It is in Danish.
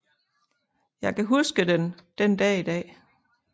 Jeg kan huske den den Dag i Dag